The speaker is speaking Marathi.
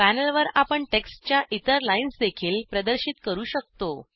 पॅनलवर आपण टेक्स्टच्या इतर लाईन्सदेखील प्रदर्शित करू शकतो